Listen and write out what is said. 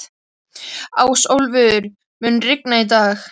Ásólfur, mun rigna í dag?